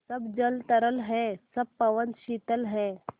सब जल तरल है सब पवन शीतल है